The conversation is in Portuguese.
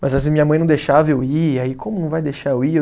Mas às vezes minha mãe não deixava eu ir, aí como não vai deixar eu ir?